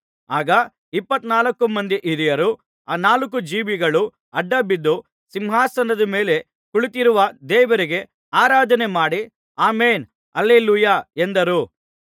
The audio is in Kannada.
ಆಗ ಇಪ್ಪತ್ನಾಲ್ಕು ಮಂದಿ ಹಿರಿಯರೂ ಆ ನಾಲ್ಕು ಜೀವಿಗಳೂ ಅಡ್ಡಬಿದ್ದು ಸಿಂಹಾಸನದ ಮೇಲೆ ಕುಳಿತಿರುವ ದೇವರಿಗೆ ಆರಾಧನೆ ಮಾಡಿ ಆಮೆನ್ ಹಲ್ಲೆಲೂಯಾ ಎಂದರು